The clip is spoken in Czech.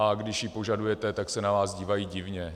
A když ji požadujete, tak se na vás dívají divně.